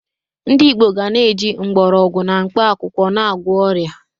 Ndị Igbo ga na-eji mgbọrọgwụ na mkpakwụkwọ na-agwọ ọrịa.